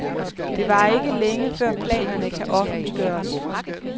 Det varer ikke længe, før planerne kan offentliggøres.